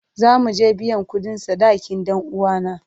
Za mu je biyan kudin sadakin dan uwana.